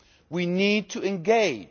We need to engage.